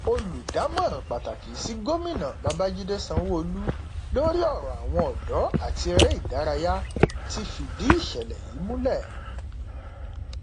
olùdámọràn pàtàkì sí gómìnà babàjídé sanwóolu lórí ọrọ àwọn ọdọ àti eré ìdárayá ti fìdí ìṣẹlẹ yìí múlẹ